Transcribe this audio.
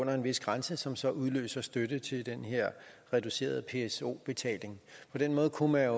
under en vis grænse som så udløser støtte til den her reducerede pso betaling på den måde kunne